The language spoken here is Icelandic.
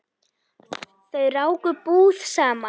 Þau ráku búð saman.